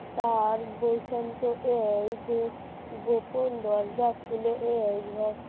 তার বৈষম তো এই যে গোপন দরজা খুলে